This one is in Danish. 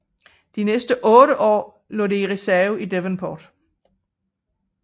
De næste otte år lå det i reserve i Devonport